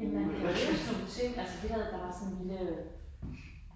Ja men man lærer jo sådan nogle ting altså vi havde bare sådan en lille